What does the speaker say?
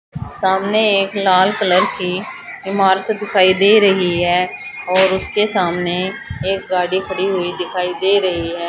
सामने एक लाल कलर की ईमारत दिखाई दे रही है और उसके सामने एक गाड़ी खड़ी हुई दिखाई दे रही है।